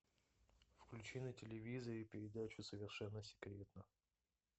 включи на телевизоре передачу совершенно секретно